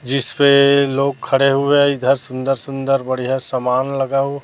जिसपे लोग खड़े हुए हैं इधर सुंदर सुंदर बढ़िया समान लगा हु--